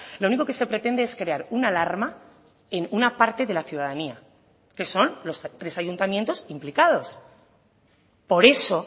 lo único que se pretende es crear una alarma en una parte de la ciudadanía que son los tres ayuntamientos implicados por eso